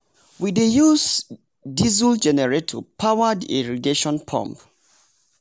we we dey use diesel generator power the irrigation pump.